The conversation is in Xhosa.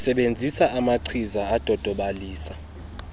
sebenzisa amachiza adodobalisa